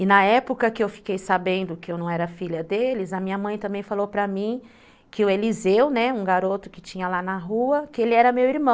E na época que eu fiquei sabendo que eu não era filha deles, a minha mãe também falou para mim que o Eliseu, né, um garoto que tinha lá na rua, que ele era meu irmão.